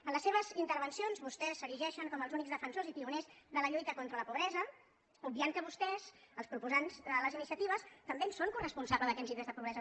en les seves intervencions vostès s’erigeixen com els únics defensors i pioners de la lluita contra la pobresa obviant que vostès els proposants de les iniciatives també en són coresponsables d’aquests índexs de po·bresa